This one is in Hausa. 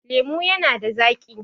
lemo yana da zaki